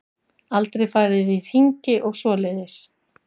Aldrei farið í hringi og svoleiðis.